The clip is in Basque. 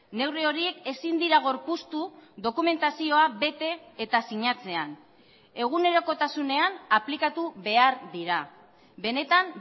neurri horiek ezin dira gorpuztu dokumentazioa bete eta sinatzean egunerokotasunean aplikatu behar dira benetan